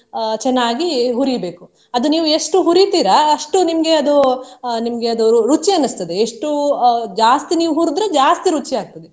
ಅಹ್ ಚೆನ್ನಾಗಿ ಹುರಿಬೇಕು. ಅದು ನೀವು ಎಷ್ಟು ಹುರಿತೀರಾ ಅಷ್ಟು ನಿಮ್ಗೆ ಅದು ಅಹ್ ನಿಮ್ಗೆ ಅದು ರುಚಿ ಅನ್ನಿಸ್ತದೆ ಎಷ್ಟು ಅಹ್ ಜಾಸ್ತಿ ನೀವು ಹುರ್ದ್ರೆ ಜಾಸ್ತಿ ರುಚಿ ಆಗ್ತದೆ.